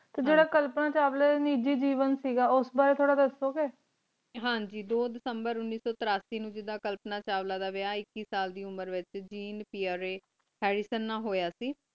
T ਜੇਰਾ ਕਲਪਨਾ ਚਾਵਲਾ ਦਾ ਨਿਜੀ ਜੀਵਨ ਕ ਗਾ ਊਸ ਬਰੀ ਤੋਰਾ ਦਸੋ ਗੀ ਹਨ ਜੀ ਦੋ ਦਿਸੰਬਰ ਉਨੀਸ ਸੋ ਤਰਸੀ ਨੂ ਜਿਡਾ ਕਲਪਨਾ ਚਾਵਲਾ ਦਾ ਵਿਆ ਇਕੀਸ ਸਾਲ ਦੀ ਉਮਰ ਵਿਚ ਜੀਨ piarey ਹੇਆਡੀਸੁਨ ਨਾ ਹੋਯਾ ਕ